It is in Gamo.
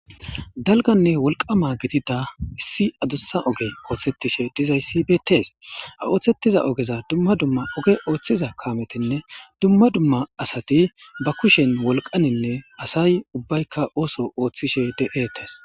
Dalganne wolqama gitida issi adussa oge ooththettishe dizayssi beettes a ooththettiza ogeza dumma dumma oge ooththiza kaametinne dumma dumma asati ba kushen wolqaninne asay ubbaykka ooso ooththishe deetes.